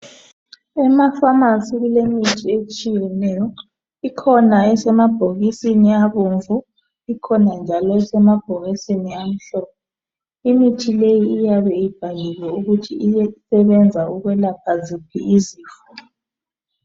Emafamasi kulemithi etshiyeneyo. Ikhona esemabhokisini abomvu, ikhona njalo esemabhokisini amhlophe. Imithi leyi iyabe ibhaliwe ukuthi iyasebenza ukwelapha ziphi izifo.